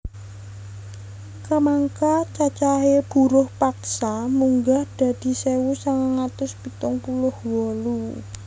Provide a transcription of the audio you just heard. Kamangka cacahé buruh paksa munggah dadi sewu sangang atus pitung puluh wolu